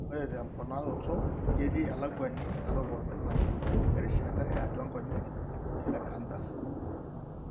Ore temponaroroto, ketii elakuani natoponayioki terishata eatua inkonyek (telecanthus).